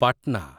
Patna